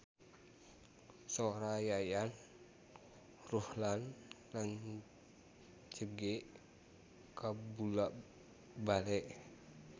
Sora Yayan Ruhlan rancage kabula-bale